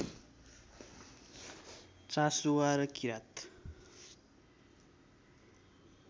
चासुवा र किरात